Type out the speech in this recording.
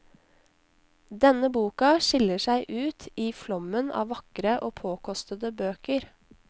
Denne boka skiller seg ut i flommen av vakre og påkostede bøker.